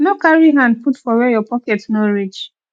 no carry hand put for where your pocket no reach